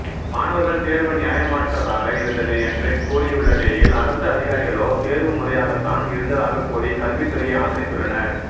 மாணவர்கள் தேர்வு நியாயமற்றதாக இருந்தது என்று கூறியுள்ள நிலையில் அரசு அதிகாரிகளோ தேர்வு முறையாகத்தான் இருந்ததாகக் கூறி கல்வித்துறையை ஆதரித்துள்ளனர்